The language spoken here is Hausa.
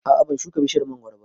A'a ban shuka bishiyar mangoro ba